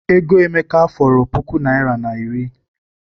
Ego Emeka fọrọ puku naịra na iri.